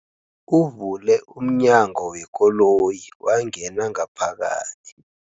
Uvule umnyango wekoloyi wangena ngaphakathi.